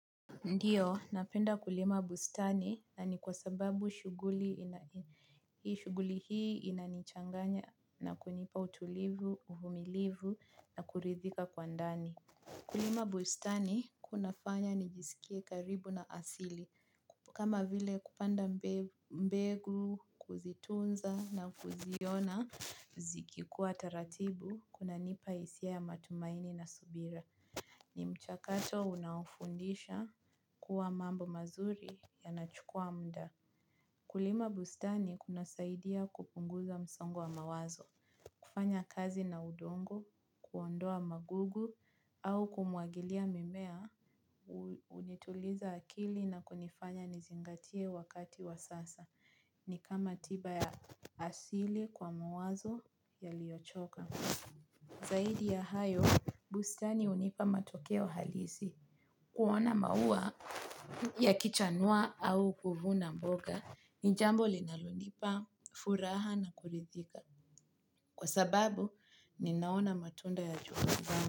Ndiyo, napenda kulima bustani na ni kwa sababu shuguli hii inanichanganya na kunipa utulivu, uvumilivu na kuridhika kwa ndani. Kulima bustani kuna fanya nijisikie karibu na asili. Kama vile kupanda mbegu, kuzitunza na kuziona, zikikua taratibu, kunanipa hisia ya matumaini na subira. Ni mchakato unaofundisha kuwa mambo mazuri yanachukua mda. Kulima bustani kunasaidia kupunguza msongo wa mawazo. Kufanya kazi na udongo, kuondoa magugu au kumwagilia mimea. Hunituliza akili na kunifanya nizingatie wakati wa sasa. Ni kama tiba ya asili kwa mawazo yaliyochoka. Zaidi ya hayo, bustani hunipa matokeo halisi kuona maua yakichanua au kuvuna mboga ni jambo linalonipa, furaha na kurithika. Kwa sababu, ninaona matunda ya juhudi zangu.